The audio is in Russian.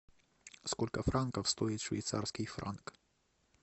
сколько франков стоит швейцарский франк